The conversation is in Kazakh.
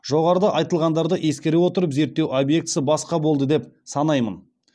жоғарыда айтылғандарды ескере отырып зерттеу объектісі басқа болды деп санаймын